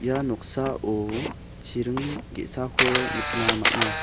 ia noksao chiring ge·sako nikna man·a.